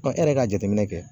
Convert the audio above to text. e yɛrɛ ka jateminɛ kɛ